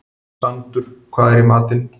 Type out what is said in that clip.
Sandur, hvað er í matinn?